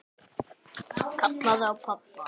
Kallaði á pabba.